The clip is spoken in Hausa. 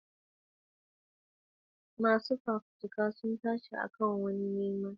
Masu fafutuka sun tashi a kan wani nema wanda zai bayyana labarin burgewa da ganowa.